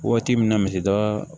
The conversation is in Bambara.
Waati min na misida